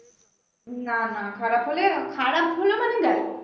না না খারাপ হলে খারাপ হল মানে ব্যাস